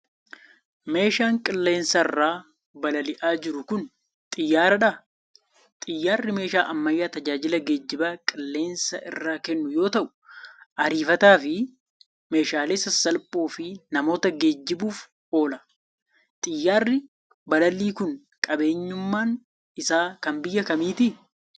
Meeshaan qilleensarra balali'aa jiru kun, xiyyaaradha? Xiyyaarri meeshaa ammayyaa tajaajila geejibaa qilleensa irraa kennu yoo ta'u, ariifataa fi meeshaalee sasalphoo fi namoota geejibuuf oola. Xiyyaarri balalii kun, qabeenyummaan isaa kan biyya kamiiti?